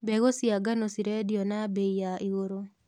Mbegũ cia ngano cirendio na mbei ya igũrũ.